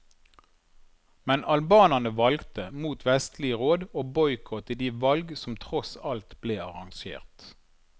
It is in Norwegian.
Men albanerne valgte, mot vestlige råd, å boikotte de valg som tross alt ble arrangert.